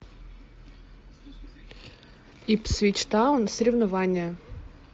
ипсвич таун соревнования